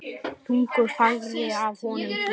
Þungu fargi af honum létt.